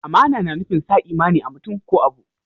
Amana na nufin sa imani a'mutum ko abu.